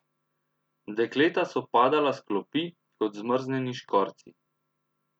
Dekleta so padala s klopi kot zmrznjeni škorci.